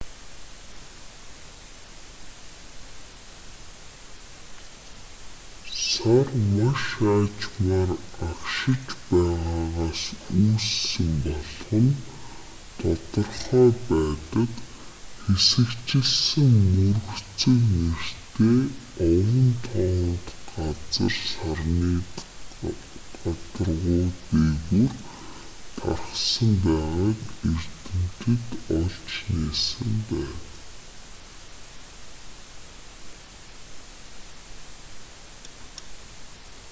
сар маш аажмаар агшиж байгаагаас үүссэн болох нь тодорхой байдаг хэсэгчилсэн мөргөцөг нэртэй овон товонт газар сарны гадаргуу дээгүүр тархсан байгааг эрдэмтэд олж нээсэн байна